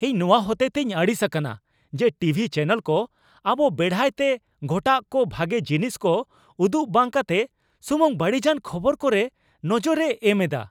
ᱤᱧ ᱱᱚᱣᱟ ᱦᱚᱛᱮᱛᱮᱧ ᱟᱹᱲᱤᱥ ᱟᱠᱟᱱᱟ ᱡᱮ ᱴᱤᱵᱷᱤ ᱪᱮᱱᱮᱞ ᱠᱚ ᱟᱵᱚ ᱵᱮᱲᱦᱟᱭᱛᱮ ᱜᱷᱚᱴᱟᱜ ᱠᱟ ᱵᱷᱟᱜᱮ ᱡᱤᱱᱤᱥ ᱠᱚ ᱩᱫᱩᱜ ᱵᱟᱝ ᱠᱟᱛᱮᱜ ᱥᱩᱢᱩᱝ ᱵᱟᱹᱲᱤᱡᱟᱱ ᱠᱷᱚᱵᱚᱨ ᱠᱚᱨᱮ ᱱᱚᱡᱚᱨᱮ ᱮᱢ ᱮᱫᱟ ᱾